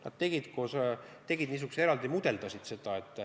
Nad tegid teatud eraldi mudeli.